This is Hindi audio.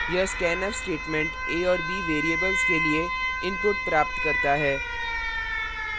यह scanf statement a और variables के लिए input प्राप्त करता है